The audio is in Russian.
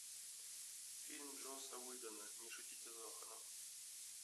фильм джосса уидона не шутите с зоханом